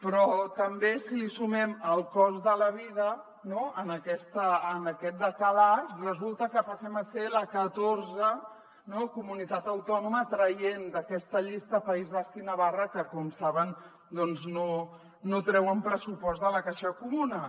però també si li sumem el cost de la vida no en aquest decalatge resulta que passem a ser la catorzena comunitat autònoma traient d’aquesta llista el país basc i navarra que com saben doncs no treuen pressupost de la caixa comuna